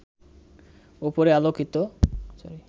ওপরে আলোচিত